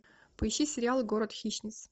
поищи сериал город хищниц